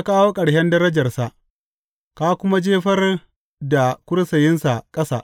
Ka kawo ƙarshen darajarsa ka kuma jefar da kursiyinsa ƙasa.